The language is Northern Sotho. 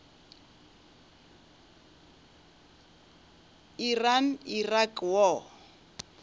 iran iraq war